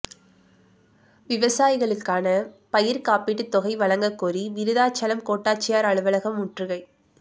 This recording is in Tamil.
விவசாயிகளுக்கான பயிர் காப்பீடு தொகை வழங்க கோரி விருத்தாசலம் கோட்டாட்சியர் அலுவலகம் முற்றுகை